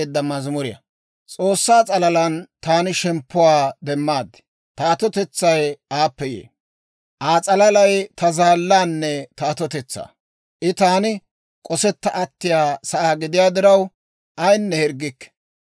Aa s'alalay ta zaallaanne ta atotetsaa; I taani k'osetta attiyaa sa'aa gidiyaa diraw, ayinne hirggikke.